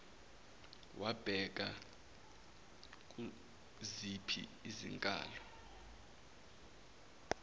wabheka kuziphi izinkalo